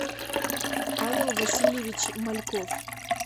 павел васильевич мальков